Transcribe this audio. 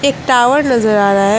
Tower नजर आ रहा है।